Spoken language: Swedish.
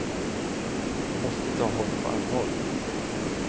Vi måste ta honom på allvar.